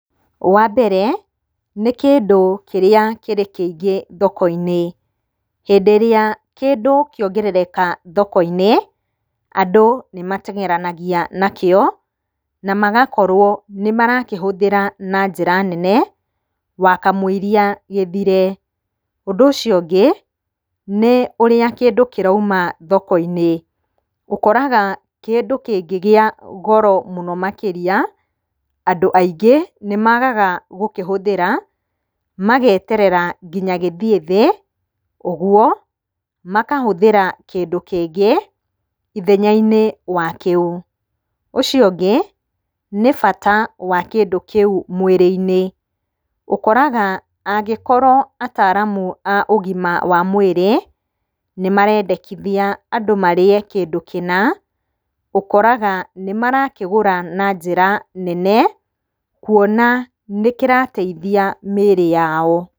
Wambere nĩ kĩndũ kĩrĩa kĩrĩ kĩingĩ thoko-inĩ, hĩndĩ ĩrĩa kĩndũ kĩongerereka thoko-inĩ, andũ nĩmatengeranagia nakĩo na magakorwo nĩmakĩhũthĩra na njĩra nene wakamũiria gĩthire. Ũndũ ũcio ũngĩ nĩ ũrĩa kĩndũ kĩrauma thoko-inĩ, ũkoraga kĩndũ kĩngĩgĩa goro mũno makĩria andũ aingĩ nĩmagaga gũkĩhũthĩra mageterera nginya gĩthiĩ thĩ, oguo akahũthĩra kĩndũ kĩngĩ ithenya-inĩ wa kĩu. Ũcio ũngĩ nĩ bata wa kĩndũ kĩu mwĩrĩ-inĩ, ũkoraga angĩkorwo ataramu a ũgima wa mwĩrĩ nĩmarendekithia andũ marĩe kĩndũ kĩna ũkoraga nĩmarakĩgũra na njĩra nene, kuona nĩkĩrateithia mĩrĩ yao.